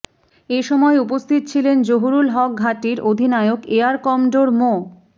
এসময় উপস্থিত ছিলেন জহুরুল হক ঘাঁটির অধিনায়ক এয়ার কমডোর মো